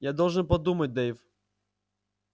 я должен подумать дейв